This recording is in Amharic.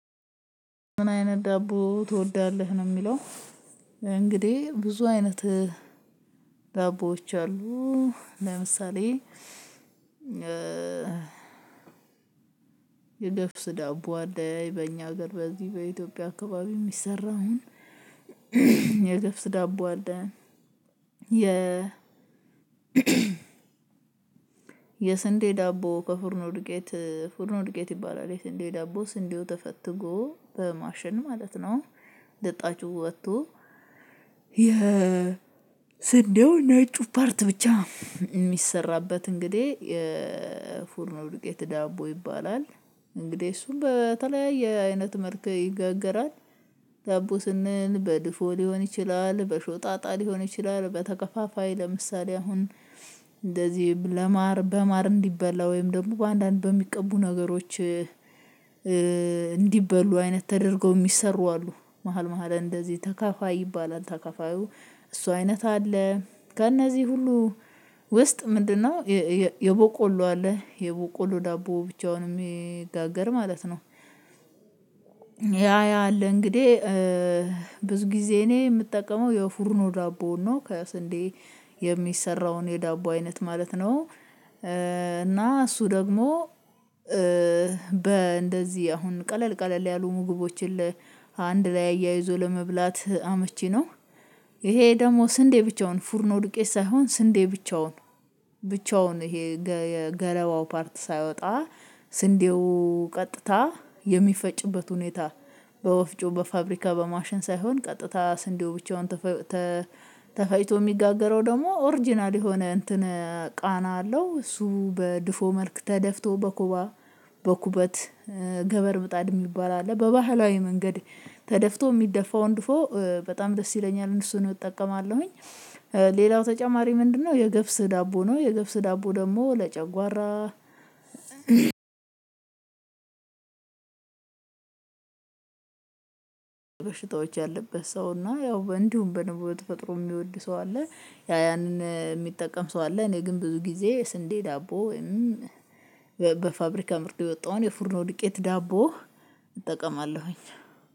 ምን? አይነት ዳቦ ትወዳለህ ነው የሚለው እንግዲህ ብዙ አይነት ዳቦዎች አሉ። ለምሳሌ የገፍስ ዳቦ አለ በእኛ ሀገር በዚህ በኢትዮጵያ አካባቢ የሚሰራውን። የገብስ ዳቦ አለ። የ የስንዴ ዳቦ በፎርኖ ዱቄት ፎርኖ ዱቄት ይባላል የስንዴ ዳቦ ስንዴው ተፈትጎ በማሸን ማለት ነው። ልጣጩ ወጥቶ የስንዴው ነጩ ፓርት ብቻ እሚሰራበት እንግዲህ ፎርኖ ዱቄት ዳቦ ይባላል። እንግዲህ እሱም በተለያየ አይነት መልክ ይጋገራል። ዳቦ ስንል በድፎ ሊሆን ይችላል በሾጣጣ ሊሆን ይችላል በተከፋፋይ ለምሳሌ አሁን እንደዚህ ለማር በማር እንዲበላ ወይም ደግሞ በአንዳንድ በሚቀቡ ነገሮች እንዲበሉ አይነት ተደርገው የሚሰሩ አሉ። መሃል መሃል እንደዚህ ተካፋይ ይባላል ተካፋዩ እሱ አይነት አለ። በእነዚህ ሁሉ ውስጥ ምንድነው? የቦቆሎ አለ የቦቆሎ ዳቦ ብቻውን የሚጋገር ማለት ነው። ያ ያ አለ እንግዲህ። ብዙ ጊዜ እኔ ምጠቀመው የፎርኖ ዳቦ ነው ከስንዴ የሚሰራውን የዳቦ አይነት ማለት ነው። እና እሱ ደግሞ በእንደዚህ አሁን ቀለል ቀለል ያሉ ምግቦችን አንድ ላይ ኣያይዞ ለመብላት አመቺ ነው። እሄ ደሞ ስንዴ ብቻውን ፉርኖ ዱቄት ሳይሆን ስንዴ ብቻውን ብቻውን እሄ ገረባው ፓርት ሳይወጣ ስንዴው ቀጥታ የሚፈጭበት ሁኔታ በወፍጮ በፋብሪካ በማሽን ሳይሆን ቀጥታ ስንዴው ብቻውን። ተፈጥሮ የሚጋገረው ደግሞ ኦሪጅናል የሆነ እንትን ቃና አለው እሱ በድፎ መልክ ተደፍቶ በኩባ በኩበት ገበር ምጣድ የሚባል አለ በባህላዊ መንገድ ተደፍቶ ሚደፋውን ድፎ በጣም ደስ ይለኛል እነሱን እጠቀማለሁኝ። ሌላው ተጨማሪ ምንድነው? የገብስ ዳቦ ነው የገብስ ዳቦ ደሞ ለጨጓራ በሽታዎች ያለበት ሰው እና ያው እንዲሁም በነበረው በተፈጥሮ የሚወድ ሰው አለ። ያንን እሚጠቀም ሰው አለ። እኔ ግን ብዙ ጊዜ ስንዴ ዳቦ ወይም በፋብሪካ ምርት የወጣውን የፉርኖ ድቄት ዳቦ እጠቀማለሁኝ